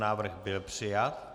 Návrh byl přijat.